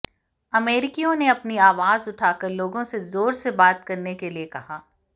अमेरिकियों ने अपनी आवाज उठाकर लोगों से ज़ोर से बात करने के लिए कहा